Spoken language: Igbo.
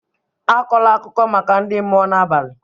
Akọla akụkọ maka ndị mmụọ n'abalị!